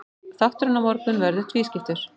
Þátturinn á morgun verður tvískiptur.